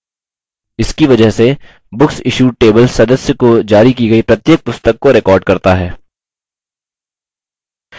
इसकी वजह से booksissued table सदस्य को जारी की गयी प्रत्येक पुस्तक को records करता है